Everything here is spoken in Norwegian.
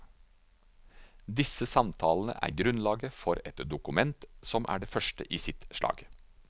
Disse samtalene er grunnlaget for et dokument som er det første i sitt slag.